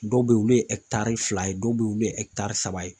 Dɔw be yen olu ye ɛkitari fila ye dɔw be ye olu ye ɛkitari saba ye